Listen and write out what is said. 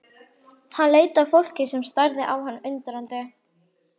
Hann leit á fólkið sem starði á hann undrandi.